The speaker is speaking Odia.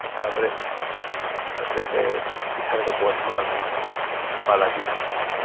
ତା ପରେ ତା ପରେ ସେ ଇଠାନେ ପହଂଚିଲୁ ଆମେ ବାଲାଜୀ